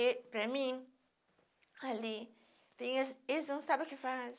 E para mim, ali, eles não sabem o que faz.